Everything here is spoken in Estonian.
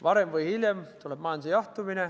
Varem või hiljem tuleb majanduse jahtumine.